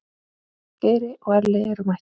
Geiri og Elli eru mættir.